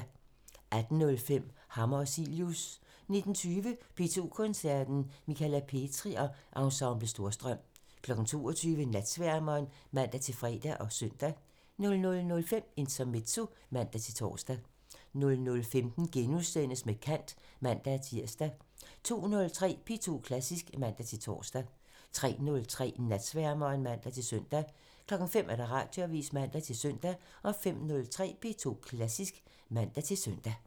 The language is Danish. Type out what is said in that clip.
18:05: Hammer og Cilius 19:20: P2 Koncerten – Michala Petri og Ensemble Storstrøm 22:00: Natsværmeren (man-fre og søn) 00:05: Intermezzo (man-tor) 00:15: Med kant *(man-tir) 02:03: P2 Klassisk (man-tor) 03:03: Natsværmeren (man-søn) 05:00: Radioavisen (man-søn) 05:03: P2 Klassisk (man-søn)